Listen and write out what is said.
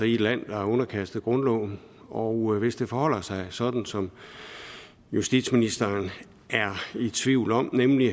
i et land der er underkastet grundloven og hvis det forholder sig sådan som justitsministeren er i tvivl om nemlig